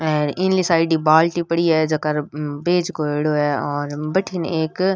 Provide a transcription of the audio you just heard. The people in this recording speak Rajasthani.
आर इनली साइड ही बाल्टी पड़ी है जेका बिच करदो है और भटीन एक--